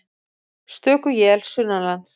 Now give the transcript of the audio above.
Stöku él sunnanlands